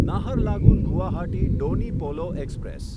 Naharlagun Guwahati Donyi Polo express